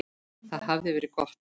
Það hafði verið gott.